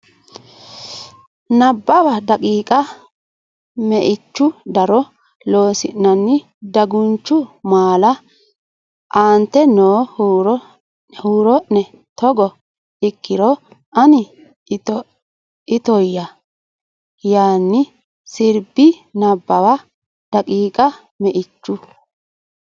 Nabbawa daqiiqa Meichu daro Loossinanni Dagunchu maala aante noo huuro ne Togo ikkiro ani itoyya yaanni sirbi Nabbawa daqiiqa Meichu.